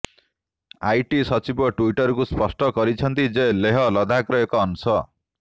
IT ସଚିବ ଟ୍ୱିଟରକୁ ସ୍ପଷ୍ଟ କରିଛନ୍ତି ଯେ ଲେହ ଲଦାଖର ଏକ ଅଂଶ